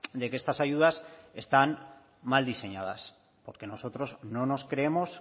de que estas ayudas están mal diseñadas porque nosotros no nos creemos